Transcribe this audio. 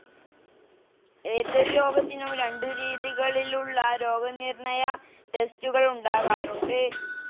ഏതൊരു രോഗത്തിനും രണ്ടു രീതികളിൽ ഉള്ള രോഗനിർണയ ടെസ്റ്റുകൾ ഉണ്ടാകാറുണ്ട്.